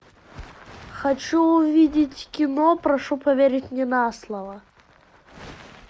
хочу увидеть кино прошу поверить мне на слово